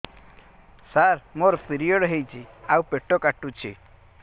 ସାର ମୋର ପିରିଅଡ଼ ହେଇଚି ଆଉ ପେଟ କାଟୁଛି